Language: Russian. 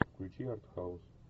включи арт хаус